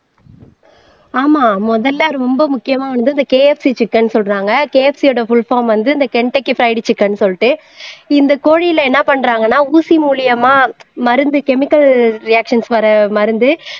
ஆமா முதல்ல ரொம்ப முக்கியமானது இந்த கேஎப்சி சிக்கன்ன்னு சொல்றாங்க கேஎப்சியோட புல் பார்ம் வந்து இந்த சொல்லிட்டு இந்த கோழியில என்ன பண்றாங்கன்னா ஊசி மூலியமா மருந்து கெமிக்கல் ரியாக்ஷன் வர்ற மருந்து